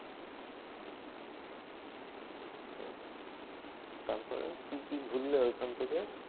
তারপরে কি কি ঘুরলে ওখান থেকে?